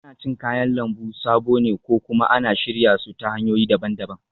Ana cin kayan lambu sabo ne ko kuma ana shirya su ta hanyoyi daban-daban